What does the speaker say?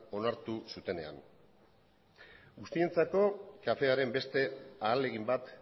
onartu zutenean guztientzako kafearen beste ahalegin bat